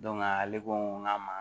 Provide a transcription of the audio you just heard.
ale ko ŋ'a ma